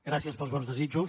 gràcies pels bons desitjos